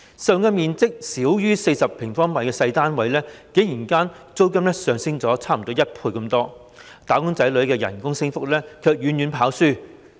實用面積少於40平方米的小型單位，租金竟然上升近1倍，"打工仔女"的工資升幅卻遠遠落後。